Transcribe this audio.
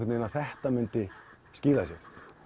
að þetta myndi skila sér